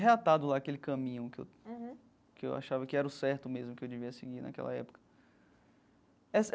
reatado lá aquele caminho que eu que eu achava que era o certo mesmo que eu devia seguir naquela época essa.